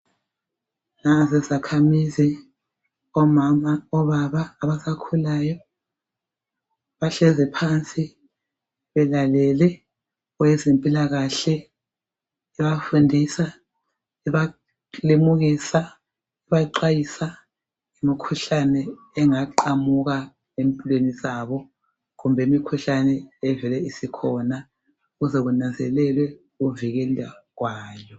Nanzi izakhamizi omama, obaba, abasakhulayo bahlezi phansi belalele owezempilakahle ebafundisa, ebalimukisa, ebaxwayisa ngemikhuhlane engaqhamuka empilweni zabo kumbe imikhuhlane evele isikhona ukuze kunanzelelwe ukuvikelwa kwayo.